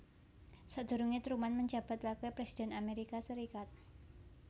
Sadurunge Truman menjabat wakil presiden Amerika Serikat